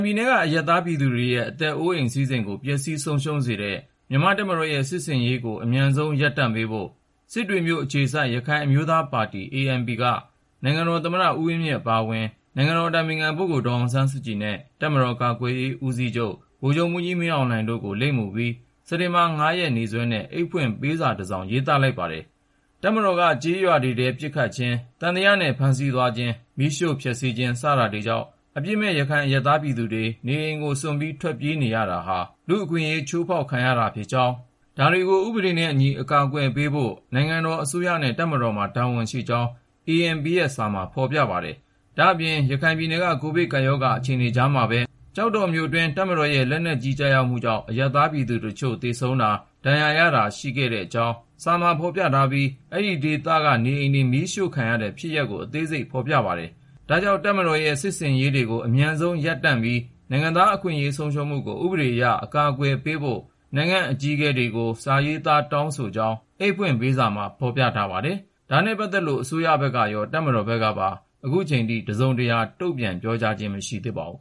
ပြည်နယ်က အရပ်သားပြည်သူတွေရဲ့ အသက်အိုးအိမ် စည်းစိမ်ကို ပျက်စီးဆုံးရှုံးစေတဲ့ မြန်မာ့တပ်မတော်ရဲ့ စစ်ဆင်ရေးကို အမြန်ဆုံး ရပ်တန့်ပေးဖို့ စစ်တွေမြို့အခြေစိုက် ရခိုင်အမျိုးသားပါတီ (ANP) က နိုင်ငံတော်သမ္မတ ဦးဝင်းမြင့် အပါအဝင် နိုင်ငံတော်အတိုင်ပင်ခံ ဒေါ်အောင်ဆန်းစုကြည်နဲ့ တပ်မတော်ကာကွယ်ရေး ဦးစီးချုပ် ဗိုလ်ချုပ်မှူးကြီး မင်းအောင်လှိုင်တို့ကို လိပ်မူပြီး စက်တင်ဘာ ၅ ရက် နေ့စွဲနဲ့ အိတ်ဖွင့်ပေးစာတစောင် ရေးသားလိုက်ပါတယ်။ တပ်မတော်က ကျေးရွာတွေထဲ ပစ်ခတ်ခြင်း၊ သံသယနဲ့ ဖမ်းဆီးသွားခြင်း၊ မီးရှို့ဖျက်ဆီးခြင်း စတာတွေကြောင့် အပြစ်မဲ့ ရခိုင်အရပ်သား ပြည်သူတွေ နေအိမ်ကိုစွန့်ပြီး ထွက်ပြေးနေရတာဟာ လူ့အခွင့်အရေး ချိုးဖောက်ခံရခြင်း ဖြစ်ကြောင်း၊ ဒါတွေကို ဥပဒေနဲ့အညီ အကာအကွယ်ပေးဖို့ နိုင်ငံတော်အစိုးရနဲ့ တပ်မတော်မှာ တာဝန်ရှိကြောင်း ANP ရဲ့ စာထဲမှာ ဖော်ပြထားပါတယ်။ ဒါ့အပြင် ရခိုင်ပြည်နယ်က ကိုဗစ်ကပ်ရောဂါ အခြေအနေကြားမှာပဲ ကျောက်တော်မြို့အတွင်း တပ်မတော်ရဲ့ လက်နက်ကြီး ကျရောက်မှုကြောင့် အရပ်သားပြည်သူတချို့ သေဆုံးတာ၊ ဒဏ်ရာရတာ ရှိခဲ့ကြောင်းကိုလည်း စာမှာဖော်ပြထားပြီး အဲဒီဒေသက နေအိမ်တွေ မီးရှို့ခံရတဲ့ဖြစ်ရပ် အသေးစိတ်ကိုလည်း ဖော်ပြထားပါတယ်။ ဒါကြောင့် တပ်မတော်ရဲ့ စစ်ဆင်ရေးတွေကို အမြန်ဆုံးရပ်တန့်ပြီး နိုင်ငံသားအခွင့်အရေး ဆုံးရှုံးမှုကို ဥပဒေအရ အကာအကွယ်ပေးဖို့ နိုင်ငံ့အကြီးအကဲတွေကို စာရေးသားတောင်းဆိုကြောင်း အိတ်ဖွင့်ပေးစာမှာ ဖော်ပြထားပါတယ်။ ဒါနဲ့ပတ်သက်လို့ အစိုးရဘက်ကရော တပ်မတော်ဘက်ကပါ ခုချိန်ထိ တစုံတရာ တုံ့ပြန်ပြောဆိုခြင်း မရှိသေးပါဘူး